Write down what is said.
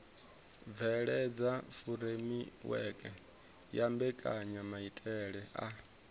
bveledza furemiweke ya mbekanyamaitele a